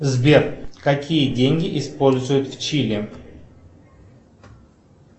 сбер какие деньги используют в чили